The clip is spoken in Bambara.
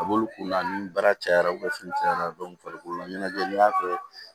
A b'olu kunna ni baara cayara u bɛ fini cayara farikolo la ɲɛnajɛ n'i y'a kɛ